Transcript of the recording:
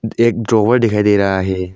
एक ड्रॉवर दिखाई दे रहा है।